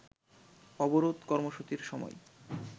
অবরোধ কর্মসূচির সময়